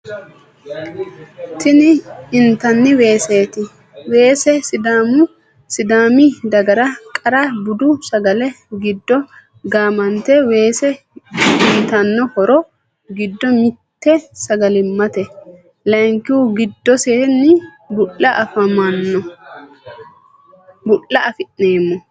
Tini intani Weeseti. Weese sidaami dagara qarra budu sagale giddo gamanite weese uyiitano horro giddo mitte sagalimate. Layikihuni giddoseni bu'ula afinemo.